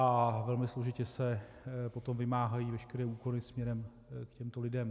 A velmi složitě se potom vymáhají veškeré úkony směrem k těmto lidem.